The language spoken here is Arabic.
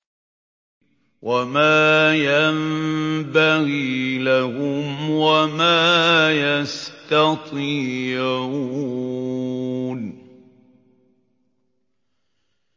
وَمَا يَنبَغِي لَهُمْ وَمَا يَسْتَطِيعُونَ